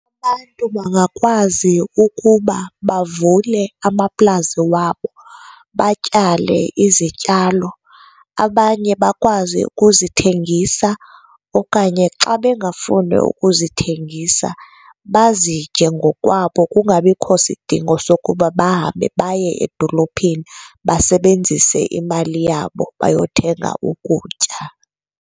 Abantu bangakwazi ukuba bavule amaplazi wabo, batyale izityalo, abanye bakwazi ukuzithengisa okanye xa bengafuni ukuzithengisa bazitye ngokwabo kungabikho sidingo sokuba bahambe baye edolophini basebenzise imali yabo bayothenga ukutya.